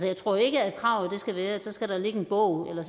jeg tror ikke at kravet skal være at der så skal ligge en bog eller